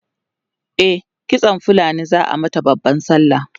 e kitsan fulani zaa mata da babban sallah